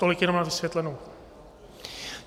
Tolik jenom na vysvětlenou.